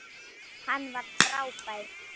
Hann var frábær.